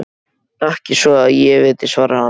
Ekki svo að ég viti, svarar hann.